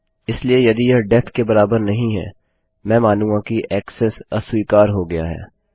इसलिए यदि यह डेफ के बराबर नहीं हैमैं मानूँगा कि ऐक्सेस अस्वीकार हो गया है